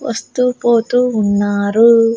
వస్తూ పోతూ ఉన్నారు.